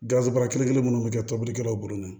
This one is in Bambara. Garisɛgɛ bɔra kelen kelen minnu bɛ kɛ tobilikɛlaw bolo ma